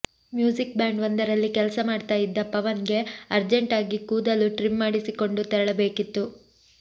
music band ಒಂದರಲ್ಲಿ ಕೆಲಸ ಮಾಡ್ತಾ ಇದ್ದ ಪವನ್ ಗೆ ಅರ್ಜೆಂಟಾಗಿ ಕೂದಲು ಟ್ರಿಮ್ ಮಾಡಿಸಿಕೊಂಡು ತೆರಳಬೇಕಿತ್ತು